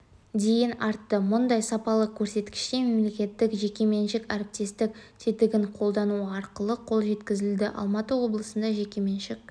дейін артты мұндай сапалы көрсеткішке мемлекеттік-жекеменшік әріптестік тетігін қолдану арқылы қол жеткізілді алматы облысында жекеменшік